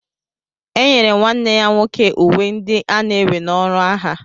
Enyere nwanne ya nwoke uwe ndị ana-ewe na ọrụ agha